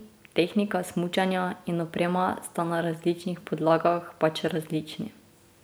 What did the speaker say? Tehnika smučanja in oprema sta na različnih podlagah pač različni.